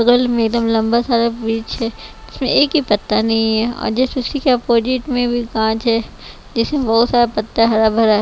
बगल में एकदम लंबा सारा ब्रिज है इसमें एक ही पत्ता नहीं है और जस्ट उसी के अपोजिट में कांच है जैसे बहुत सारा पत्ता हरा भरा--